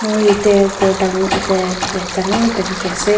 moi yatae ghor dango yate ekta dangor dikhiase.